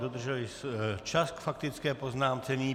Dodržel i čas k faktické poznámce.